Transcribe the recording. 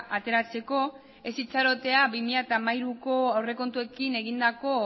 ateratzeko ez itxarotea bi mila hamairuko aurrekontuekin egindako